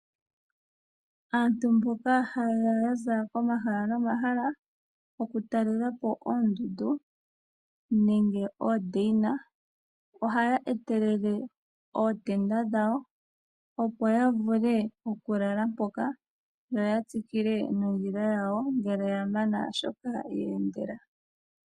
Aantu mboka haye ya za komahala nomahala okutala po oondundu nenge oodaina ohaya etelele ootenda dhawo, opo ya vule okulala mpoka, yo ya tsikile nondjila yawo ngele ya mana shoka ye endela.